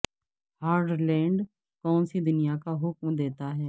hard land کون سی دنیا کا حکم دیتا ہے